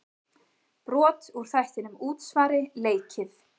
Brot úr þættinum Útsvari leikið.